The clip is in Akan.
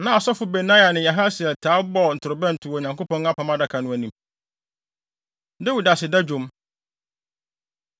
Na Asɔfo Benaia ne Yahasiel taa bɔ ntorobɛnto wɔ Onyankopɔn Apam Adaka no anim. Dawid Aseda Dwom